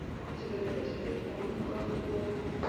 у тебя найдется фильм кулак воина